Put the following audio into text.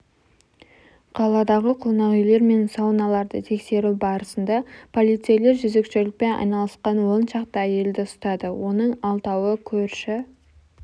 қаладағы қонақүйлер мен сауналарды тексеру барысында полицейлер жезөкшелікпен айналысқан он шақты әйелді ұстады оның алтауы көрші